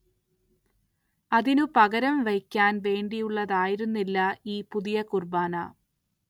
അതിനു പകരം വയ്ക്കാൻ വേണ്ടിയുള്ളതായിരുന്നില്ല ഈ പുതിയ കുർബ്ബാന.